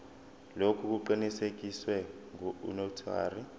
lokhu kuqinisekiswe ngunotary